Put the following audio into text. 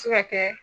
Se ka kɛ